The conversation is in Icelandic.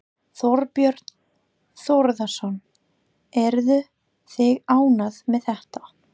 Þorbjörn Þórðarson: Eruð þið ánægð með þetta?